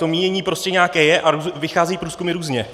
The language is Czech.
To mínění prostě nějaké je a vychází průzkumy různě.